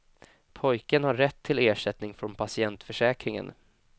Pojken har rätt till ersättning från patientförsäkringen.